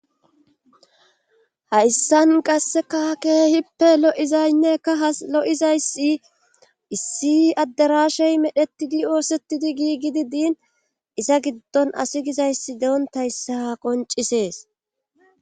hayssan qasseka keehippe lo7izaynnekka ha lo7izayssi issi adderashey medhetidi oosettidi giigidi diin iza giddon asi gizayssi dewontayssah qoncisees